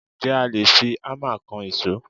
Ǹjẹ́ a lè fi Hámà kan ìṣó?